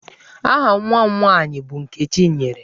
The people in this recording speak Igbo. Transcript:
Aha nwa m nwaanyị bụ Nkechinyere.